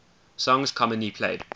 songs commonly played